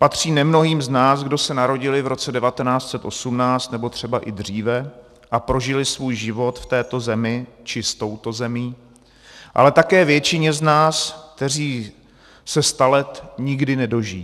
Patří nemnohým z nás, kdo se narodili v roce 1918 nebo třeba i dříve a prožili svůj život v této zemi či s touto zemí, ale také většině z nás, kteří se sta let nikdy nedožijí.